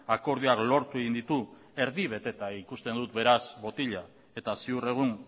akordioak lortu egin ditu erdi beteta ikusten dut beraz botila eta ziur egun